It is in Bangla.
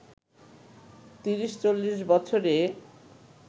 ৩০-৪০ বছরে